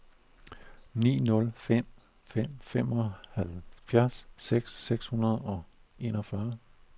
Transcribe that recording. ni nul fem fem femoghalvfjerds seks hundrede og enogfyrre